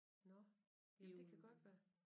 Nåh ja det kan godt være